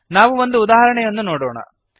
ನಾವು ಒಂದು ಉದಾಹರಣೆಯನ್ನು ನೋಡೋಣ